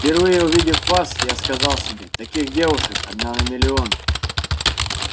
впервые увидев вас я сказал себе таких девушек одна на миллион